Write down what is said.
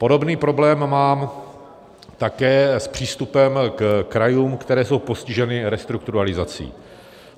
Podobný problém mám také s přístupem ke krajům, které jsou postiženy restrukturalizací.